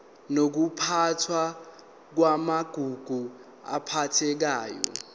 nokuphathwa kwamagugu aphathekayo